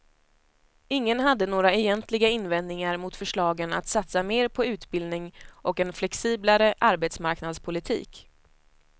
Ingen hade några egentliga invändningar mot förslagen att satsa mer på utbildning och en flexiblare arbetsmarknadspolitik.